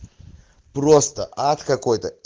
просто ад какой-то